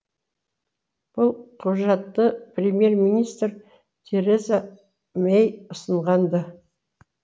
бұл құжатты премьер министр тереза мэй ұсынған ды